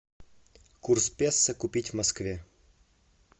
курс песо купить в москве